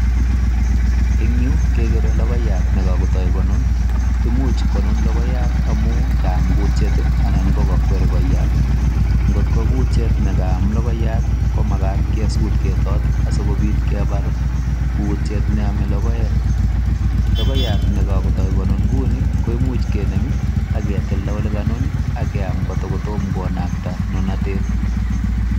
Eng yu kegere logoiyat ne kagoto konun, imuch konun logoiyat amun kaam kutyet anan kogakwer koyat. Ngotko kutyet ne kaam logoyat komagat kesuut ketooto asikobit kebar kutiet ne ome logoek. Logoyat ne kagoto konun kouni koimuch kenem ak ketilda ole kanun ii ak keam kotum konakta nunatet.